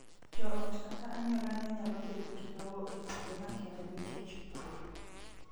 Joot kata anyuola ne nyalo bet gi lowo e kuonde makende nikech pur